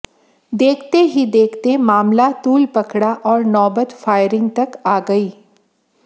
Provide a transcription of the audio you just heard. देखते ही देखते मामला तूल पकड़ा और नौबत फायरिग तक आ गई